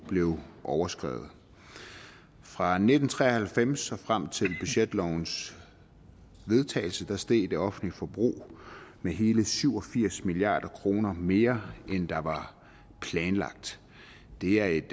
blev overskredet fra nitten tre og halvfems og frem til budgetlovens vedtagelse steg det offentlige forbrug med hele syv og firs milliard kroner mere end det der var planlagt det er et